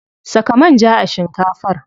Saka manja a shinkafar.